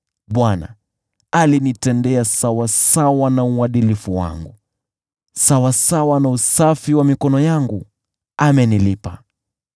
Bwana alinitendea sawasawa na uadilifu wangu; sawasawa na usafi wa mikono yangu amenilipa.